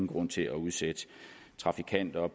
grund til at udsætte trafikanter